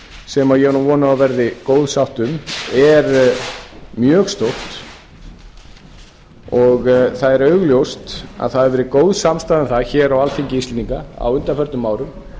sem ég á nú von á að verði góð sátt um er mjög stórt og það er augljóst að það hefur verið góð samstaða um það hér á alþingi íslendinga á undanförnum árum